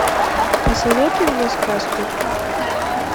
посоветуй мне сказку